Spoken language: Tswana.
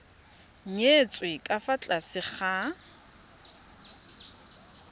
nyetswe ka fa tlase ga